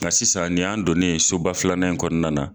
Nka sisan nin y'an donnen soba filanan in kɔnɔna na.